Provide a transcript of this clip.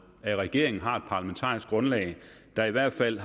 at regeringen har et parlamentarisk grundlag der i hvert fald